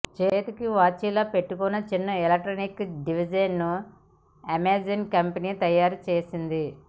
చేతికి వాచ్ లా పెట్టుకునే చిన్న ఎలక్ట్రిక్ డివైస్ను అమెజాన్ కంపెనీ తయారు చేసింది